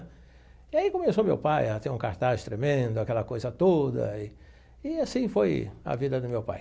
E aí começou meu pai a ter um cartaz tremendo, aquela coisa toda, e e assim foi a vida do meu pai.